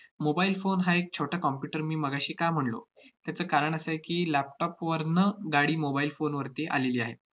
mobile phone हा एक छोटा computer मी मगाशी का म्हणलो? त्याचं कारण असं आहे की, laptop वरनं गाडी mobile phone वरती आलेली आहे.